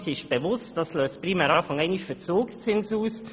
Wir sind uns bewusst, dass dies primär Verzugszinse auslöst.